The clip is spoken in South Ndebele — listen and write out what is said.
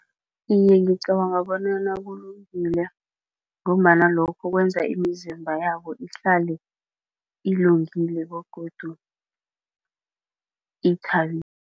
Iye, ngicabanga bonyana kulungile ngombana lokho kwenza imizimba yabo ihlale ilungile begodu